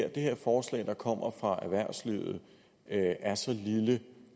at det her forslag der kommer fra erhvervslivet er så lille det